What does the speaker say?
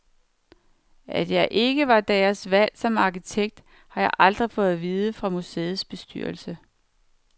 At jeg ikke var deres valg som arkitekt, har jeg aldrig fået at vide fra museets bestyrelse.